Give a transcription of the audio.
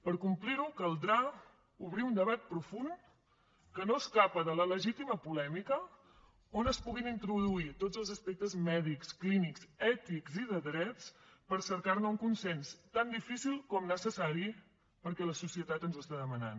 per complir ho caldrà obrir un debat profund que no escapa de la legítima polèmica on es puguin introduir tots els aspectes mèdics clínics ètics i de drets per cercar ne un consens tan difícil com necessari perquè la societat ens ho està demanant